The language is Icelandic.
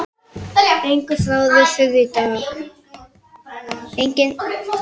Enginn þráður þurr í dag.